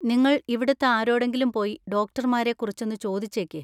നിങ്ങൾ ഇവിടുത്തെ ആരോടെങ്കിലും പോയി ഡോക്ടർമാരെ കുറിച്ചൊന്ന് ചോദിച്ചേക്ക്.